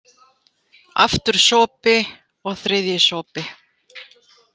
Aftur sopi, og þriðji sopi.